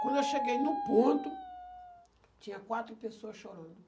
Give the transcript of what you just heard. Quando eu cheguei no ponto, tinha quatro pessoa chorando.